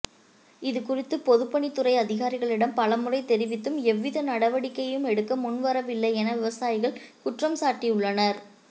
இதுகுறித்து பொதுப்பணித்துறை அதிகாரிகளிடம் பலமுறை தெரிவித்தும் எவ்வித நடவடிக்கையும் எடுக்க முன்வரவில்லை என விவசாயிகள் குற்றம் சாட்டி உள்ளனர்